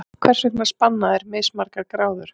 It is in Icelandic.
Hvers vegna spanna þeir mismargar gráður?